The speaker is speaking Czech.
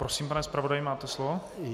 Prosím, pane zpravodaji, máte slovo.